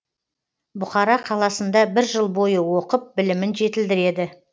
бұқара қаласында бір жыл бойы оқып білімін жетілдіреді